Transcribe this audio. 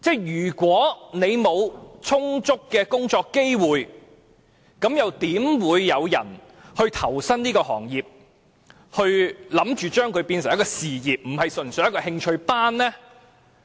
如果沒有充足的工作機會，又怎會有人投身這個行業，打算將它變成一個事業，而不是純粹的興趣班呢？